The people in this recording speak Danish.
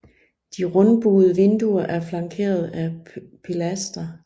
De rundbuede vinduer er flankeret af pilastre